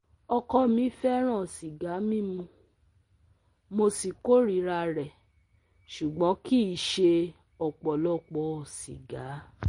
Ọkọ mi fẹ́ràn sìgá mímu, mo sì kórìíra rẹ̀ ṣùgbọ́n kì í ṣe ọ̀pọ̀lọpọ̀ sìgá